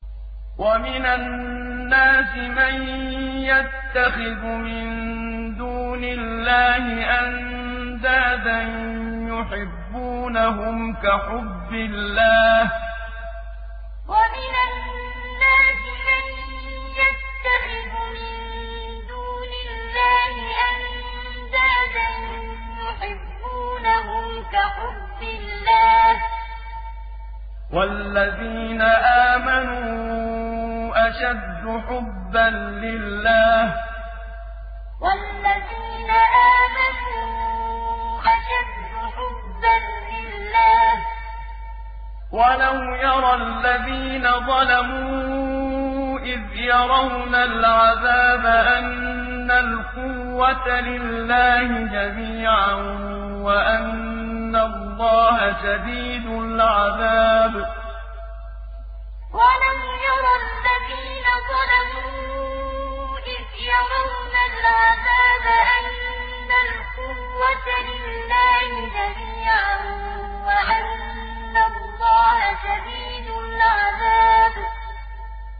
وَمِنَ النَّاسِ مَن يَتَّخِذُ مِن دُونِ اللَّهِ أَندَادًا يُحِبُّونَهُمْ كَحُبِّ اللَّهِ ۖ وَالَّذِينَ آمَنُوا أَشَدُّ حُبًّا لِّلَّهِ ۗ وَلَوْ يَرَى الَّذِينَ ظَلَمُوا إِذْ يَرَوْنَ الْعَذَابَ أَنَّ الْقُوَّةَ لِلَّهِ جَمِيعًا وَأَنَّ اللَّهَ شَدِيدُ الْعَذَابِ وَمِنَ النَّاسِ مَن يَتَّخِذُ مِن دُونِ اللَّهِ أَندَادًا يُحِبُّونَهُمْ كَحُبِّ اللَّهِ ۖ وَالَّذِينَ آمَنُوا أَشَدُّ حُبًّا لِّلَّهِ ۗ وَلَوْ يَرَى الَّذِينَ ظَلَمُوا إِذْ يَرَوْنَ الْعَذَابَ أَنَّ الْقُوَّةَ لِلَّهِ جَمِيعًا وَأَنَّ اللَّهَ شَدِيدُ الْعَذَابِ